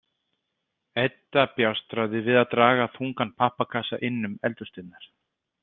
Edda bjástraði við að draga þungan pappakassa inn um eldhúsdyrnar.